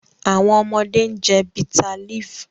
Awọn ọmọde n jẹ bitterleaf